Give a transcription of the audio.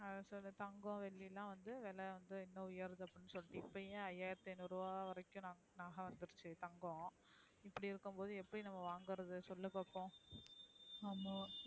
அத சொல்லு தங்கம் வெள்ளி லாம் வந்து விலை வந்து உயரதுன்னு அப்டி சொல்லி ஐய்யிரத்தி ஐந்நூறு நகா வந்துருச்சு தங்கம் இப்டி இருக்கும் போது நம்ம எப்டி வாங்கறது சொல்லு பாப்போம்.